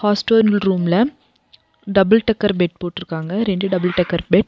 Hostel ரூம்ல double decker bed போட்ருக்காங்க இரண்டு டபுள் டெக்கர் பெட் .